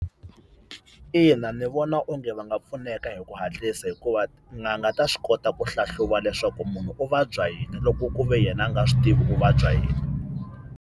Ina ndzi vona onge va nga pfuneka hi ku hatlisa hikuva tin'anga ta swi kota ku hlahluva leswaku munhu u vabya yini loko ku ve yena a nga swi tivi u vabya yini.